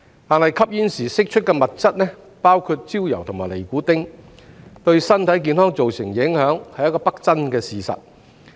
但是，吸煙時釋出的物質，包括焦油和尼古丁，對身體健康造成影響是不爭的事實。